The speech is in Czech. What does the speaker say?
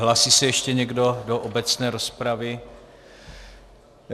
Hlásí se ještě někdo do obecné rozpravy?